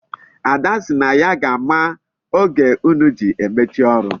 Ada si na ya ga-ama oge unu ji emechi ọrụ.